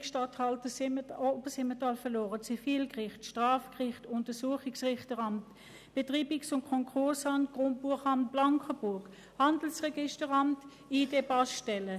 Wir haben das Regierungsstatthalteramt Obersimmental verloren, weiter das Zivilgericht, das Strafgericht, das Untersuchungsrichteramt, das Betreibungs- und Konkursamt Blankenburg, das Handelsregisteramt sowie ID- und Passstellen.